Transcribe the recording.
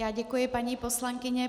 Já děkuji, paní poslankyně.